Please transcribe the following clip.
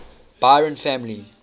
byron family